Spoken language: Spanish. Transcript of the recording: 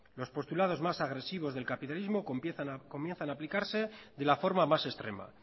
los postulados más agresivos del capitalismo comienzan a aplicarse de la forma más extrema